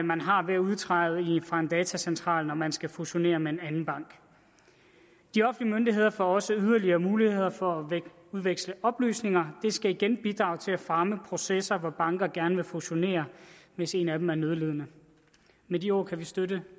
man har ved at udtræde fra en datacentral når man skal fusionere med en anden bank de offentlige myndigheder får også yderligere muligheder for at udveksle oplysninger og skal igen bidrage til at fremme processer hvor banker gerne vil fusionere hvis en af dem er nødlidende med de ord kan vi støtte